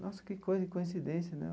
Nossa, que coisa coincidência né.